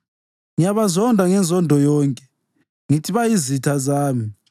Ngiyabazonda ngenzondo yonke; ngithi bayizitha zami.